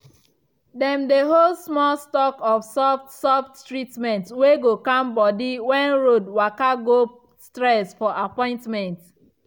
dem dey hold small stock of soft soft treatment wey go calm body when road waka go stress for appointment.